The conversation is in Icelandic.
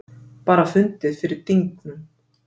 Bara fundið fyrir dynknum.